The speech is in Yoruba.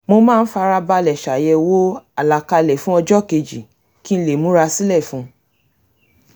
mo máa ń fara balẹ̀ ṣàyẹ̀wò àlàkalẹ̀ fun ọjọ́ keji kí n lè múra sílẹ̀ fún un